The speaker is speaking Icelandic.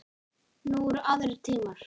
Nú eru aðrir tímar.